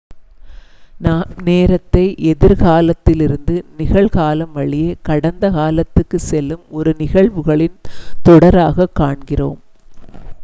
நாம் நேரத்தை எதிர் காலத்திலிருந்து நிகழ் காலம் வழியே கடந்த காலத்துக்குச் செல்லும் ஒரு நிகழ்வுகளின் தொடராகக் காண்கிறோம்